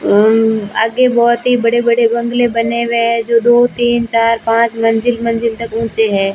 आगे बहोत ही बड़े बड़े बंगले बने हुए हैं जो दो तीन चार पांच मंजिल मंजिल तक ऊंचे हैं।